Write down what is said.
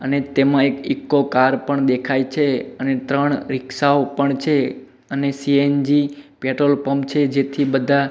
અને તેમાં એક ઈકો કાર પણ દેખાય છે અને ત્રણ રિક્ષાઓ પણ છે અને સી_એન_જી પેટ્રોલ પંપ છે જેથી બધા--